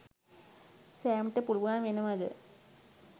සෑම්ට පුළුවන් වෙනවද